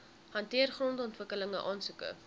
hanteer grondontwikkeling aansoeke